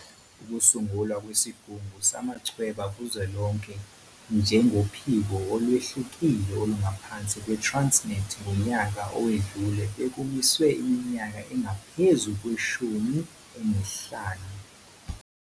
Ukusungulwa kweSigungu Samachweba Kuzwelonke njengophiko olwehlukile olungaphansi kwe-Transnet ngonyaka owedlule bekumiswe iminyaka engaphezu kwe-15.